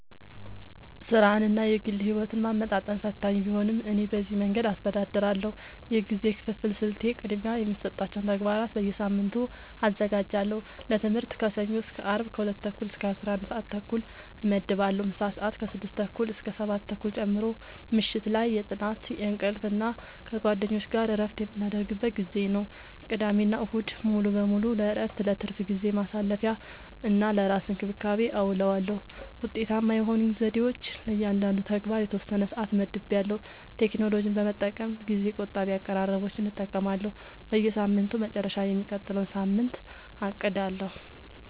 ሥራንና የግል ሕይወትን ማመጣጠን ፈታኝ ቢሆንም፣ እኔ በዚህ መንገድ አስተዳድራለሁ፦ የጊዜ ክፍፍል ስልቴ፦ · ቅድሚያ የሚሰጣቸውን ተግባራት በየሳምንቱ አዘጋጃለሁ · ለትምህርት ከሰኞ እስከ አርብ ከ 2:30-11:30 እመድባለሁ (ምሳ ሰአት 6:30-7:30 ጨምሮ) · ምሽት ላይ የጥናት፣ የእንቅልፍ እና ከጓደኞች ጋር እረፍት የምናደርግበት ጊዜ ነው። · ቅዳሜና እሁድ ሙሉ በሙሉ ለእረፍት፣ ለትርፍ ጊዜ ማሳለፊ፣ እና ለራስ እንክብካቤ አዉለዋለሁ። ውጤታማ የሆኑኝ ዘዴዎች፦ · ለእያንዳንዱ ተግባር የተወሰነ ሰዓት መድቤያለሁ · ቴክኖሎጂን በመጠቀም ጊዜ ቆጣቢ አቀራረቦችን እጠቀማለሁ · በሳምንቱ መጨረሻ የሚቀጥለውን ሳምንት አቅዳለሁ